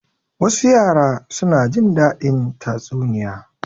Wasu yara suna jin daɗin tatsuniya.